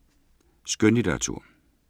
Skønlitteratur